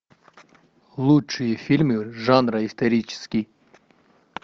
лучшие фильмы жанра исторический